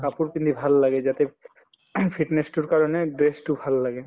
কাপোৰ পিন্ধি ভাল লাগে যাতে ing fitness তোৰ কাৰণে best তো ভাল লাগে